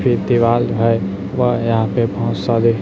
पे दीवाल है वह यहां पे बहोत सारे--